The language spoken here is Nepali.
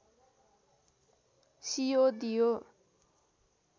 सियो दियो